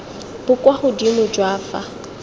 bo kwa godimo jwa fa